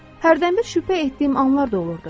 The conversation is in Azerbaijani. Hərdənbir şübhə etdiyim anlar da olurdu.